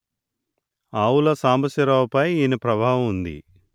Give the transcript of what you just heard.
ఆవుల సాంబశివరావు పై ఈయన ప్రభావం ఉంది